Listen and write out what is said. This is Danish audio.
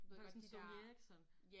Du havde ikke sådan en Sony Ericsson